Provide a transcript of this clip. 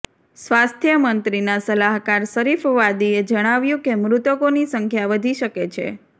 સ્વાસ્થ્ય મંત્રીના સલાહકાર શરીફ વાદીએ જણાવ્યું કે મૃતકોની સંખ્યા વધી શકે છે